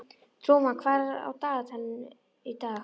Trúmann, hvað er á dagatalinu í dag?